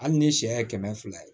Hali ni sɛ ye kɛmɛ fila ye